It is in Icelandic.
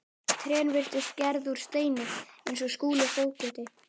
Trén virtust gerð úr steini eins og Skúli fógeti.